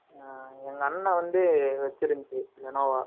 அ, எங்க அண்ணன் வந்து, வச்சிருந்துச்சு, லினோவா